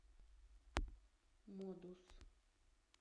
модус